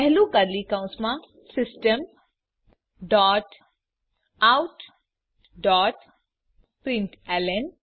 પહેલું કર્લી કૌંસમાં system dot out dot println